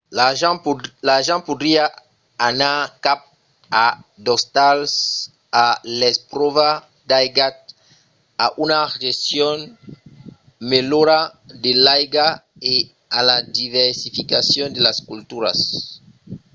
l'argent podriá anar cap a d'ostals a l'espròva d'aigats a una gestion melhora de l'aiga e a la diversificacion de las culturas